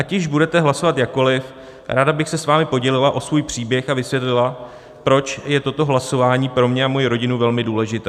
Ať již budete hlasovat jakkoliv, ráda bych se s vámi podělila o svůj příběh a vysvětlila, proč je toto hlasování pro mě a moji rodinu velmi důležité.